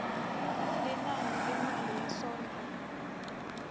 linani lemali yesondlo